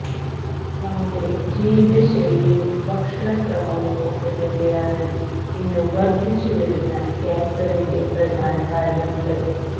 നമ്മുടെ ജീവിതശൈലിയും ഭക്ഷണക്രമവും ഒക്കെ തന്നെയാണ് ഇന്ന് വര്ധിച്ച് വരുന്ന ക്യാന്സറിന്റെ പ്രധാന കാരണങ്ങള്